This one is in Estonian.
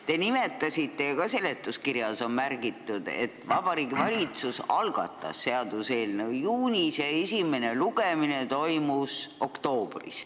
Te nimetasite ja ka seletuskirjas on märgitud, et Vabariigi Valitsus algatas seaduseelnõu juunis ja esimene lugemine toimus oktoobris.